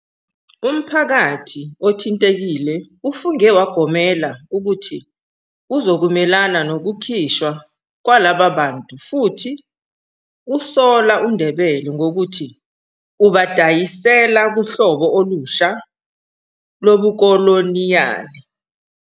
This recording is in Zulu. Umphakathi othintekile ufunge wagomela ukuthi uzokumelana nokukhishwa kwalaba bantu futhi usola uNdebele ngokuthi "ubadayisela" kuhlobo olusha lobukoloniyali.